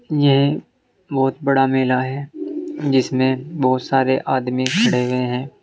यह बहुत बड़ा मेला है जिसमें बहुत सारे आदमी खड़े हुए हैं।